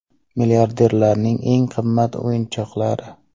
Milliarderlarning eng qimmat o‘yinchoqlari .